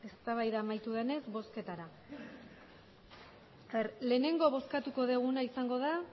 eztabaida amaitu denez bozketara lehenengo bozkatuko duguna izango da